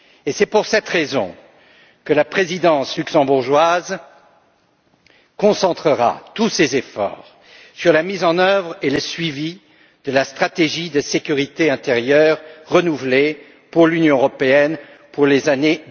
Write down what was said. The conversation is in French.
C'est pour cette raison que la présidence luxembourgeoise concentrera tous ses efforts sur la mise en œuvre et le suivi de la stratégie de sécurité intérieure renouvelée pour l'Union européenne pour les années